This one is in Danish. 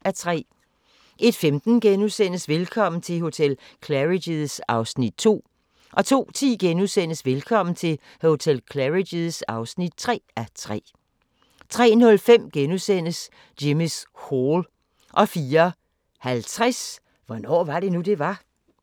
01:15: Velkommen til hotel Claridge's (2:3)* 02:10: Velkommen til hotel Claridge's (3:3)* 03:05: Jimmy's Hall * 04:50: Hvornår var det nu, det var?